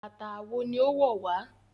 Bàtà àwo ní owó wá.